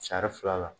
Sari fila la